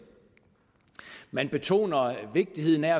man betoner vigtigheden af